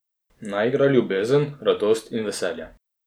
Naj igra ljubezen, radost in veselje.